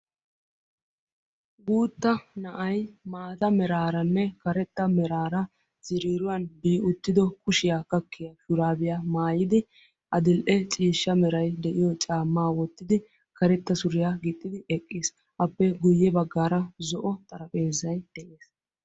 Guutta na'ay maata meraaranne karetta meraara ziriiruwan giigi uttido kushiya gakkiya shuraabiya maayidi adil''e ciishsha meray de'iyo caammaa wottidi karetta suriya gixxidi eqqiis. Appe guyye baggaara zo'o xarapheezzay de'ees.